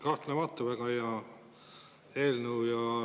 Kahtlemata väga hea eelnõu.